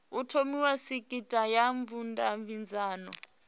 ho thomiwa sekitha ya vhudavhidzano